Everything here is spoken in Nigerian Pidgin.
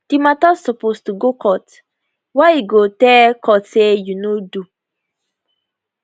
di mata suppose to go court wia e go tell court say you no do